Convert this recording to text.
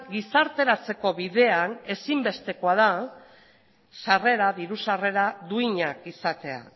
gizarteratzeko bidean ezinbestekoa da diru sarrera duinak izatea